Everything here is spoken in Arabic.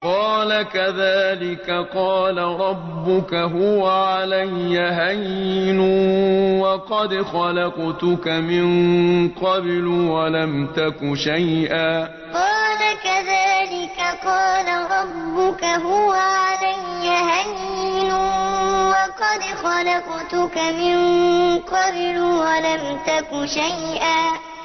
قَالَ كَذَٰلِكَ قَالَ رَبُّكَ هُوَ عَلَيَّ هَيِّنٌ وَقَدْ خَلَقْتُكَ مِن قَبْلُ وَلَمْ تَكُ شَيْئًا قَالَ كَذَٰلِكَ قَالَ رَبُّكَ هُوَ عَلَيَّ هَيِّنٌ وَقَدْ خَلَقْتُكَ مِن قَبْلُ وَلَمْ تَكُ شَيْئًا